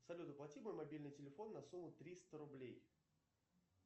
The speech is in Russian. салют оплати мой мобильный телефон на сумму триста рублей